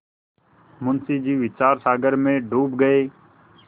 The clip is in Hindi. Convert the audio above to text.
मुंशी जी विचारसागर में डूब गये